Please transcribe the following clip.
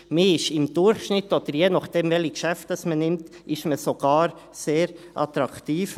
Man ist im Durchschnitt, oder je nachdem, welche Geschäfte man nimmt, sogar sehr attraktiv.